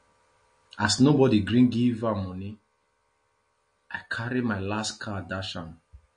as nobody gree give am money i carry my last card dash am